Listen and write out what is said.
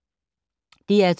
DR2